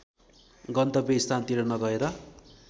गन्तव्य स्थानतिर नगएर